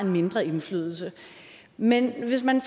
mindre indflydelse men hvis man